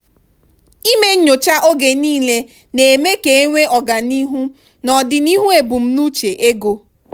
ịme nyocha oge niile na-eme ka enwee ọganihu n'odinihu embumnuche ego.